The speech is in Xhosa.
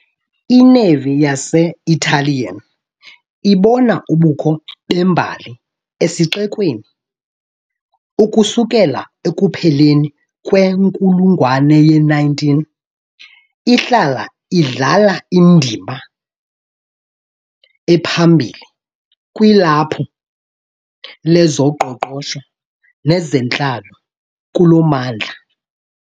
I -Navy yase-Italian ibona ubukho bembali esixekweni, ukusukela ekupheleni kwenkulungwane ye-19 , ihlala idlala indima ephambili kwilaphu lezoqoqosho nezentlalo kulo mmandla.